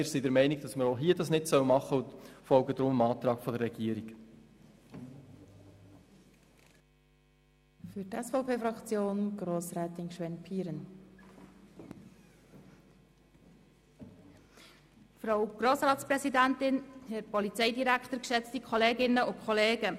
Wir sind der Meinung, dass man hier von Kantonsseite nicht übersteuern soll und folgen deshalb dem Antrag der Regierung.